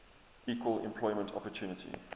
equal employment opportunity